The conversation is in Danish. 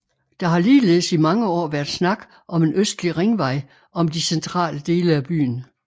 Der har ligeledes i mange år været snak om en Østlig Ringvej om de centrale dele af byen